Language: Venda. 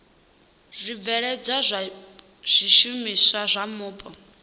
zwibveledzwa zwa zwishumiswa zwa mupo